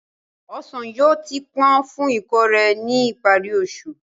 Ọsàn yóò ti pọ́n fún ìkórè ní ìparí oṣù.